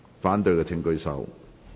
反對的請舉手。